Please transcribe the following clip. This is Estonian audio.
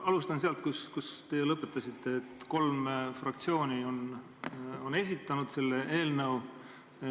Alustan sealt, kus teie lõpetasite: et kolm fraktsiooni on esitanud selle eelnõu.